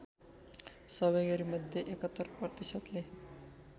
सहभागीमध्ये ७१ प्रतिशतले